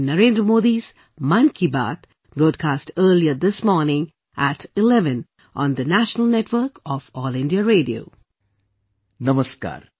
Namaskar